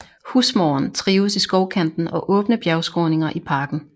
Husmåren trives i skovkanten og åbne bjergskråninger i parken